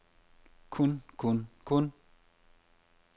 kun kun kun